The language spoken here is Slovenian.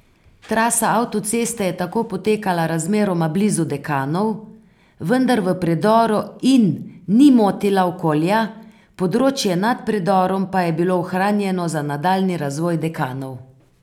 Trasa avtoceste je tako potekala razmeroma blizu Dekanov, vendar v predoru in ni motila okolja, področje nad predorom pa je bilo ohranjeno za nadaljnji razvoj Dekanov.